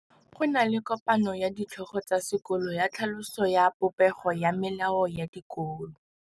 Go na le kopanô ya ditlhogo tsa dikolo ya tlhaloso ya popêgô ya melao ya dikolo.